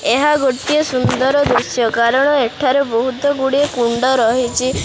ଏହା ଗୋଟିଏ ସୁନ୍ଦର ଦୃଶ୍ୟ କାରଣ ଏଠାରେ ବହୁତ୍ ଗୁଡ଼ାଏ କୁଣ୍ଡ ରହିଛି।